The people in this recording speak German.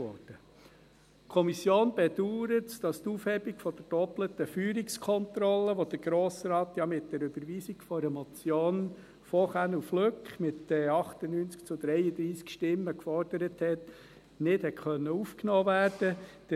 Die Kommission bedauert es, dass die Aufhebung der doppelten Feuerungskontrolle, die der Grosse Rat ja mit der Überweisung einer Motion Känel/Flück mit 98 zu 33 Stimmen gefordert hatte, nicht aufgenommen werden konnte.